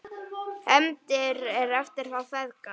HEFNDIR EFTIR ÞÁ FEÐGA